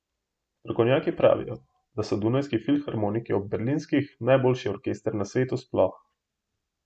Strokovnjaki pravijo, da so Dunajski filharmoniki ob berlinskih najboljši orkester na svetu sploh.